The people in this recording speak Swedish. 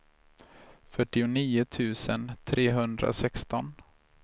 fyrtionio tusen trehundrasexton